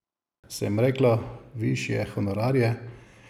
Sem rekla višje honorarje?